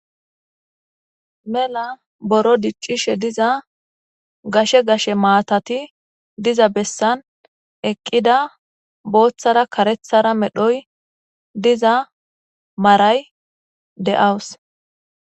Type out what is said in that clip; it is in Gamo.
Mela buro diccishe diza gashe gashe maatati diza besani eqida boothara karethara medho marayi dawusi,